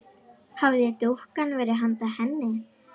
Hafði dúkkan verið handa henni?